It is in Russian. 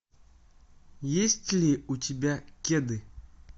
есть ли у тебя кеды